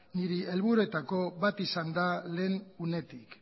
nire helburuetako bat izan da lehen unetik